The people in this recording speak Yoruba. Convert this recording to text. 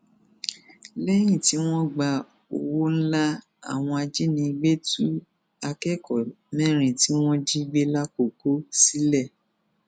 lẹyìn tí wọn gba owó ńlá àwọn ajínigbé tú akẹkọọ mẹrin tí wọn jí gbé làkọkọ sílẹ